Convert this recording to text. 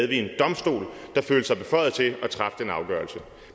vi en domstol der følte sig beføjet til at træffe den afgørelse